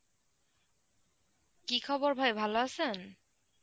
কী খবর ভাই ভালো আছেন?